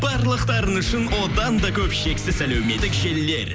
барлықтарыңыз үшін одан да көп шексіз әлеуметтік желілер